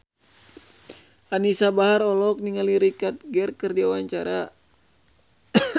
Anisa Bahar olohok ningali Richard Gere keur diwawancara